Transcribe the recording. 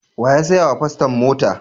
Wa ya saya wa paston mota?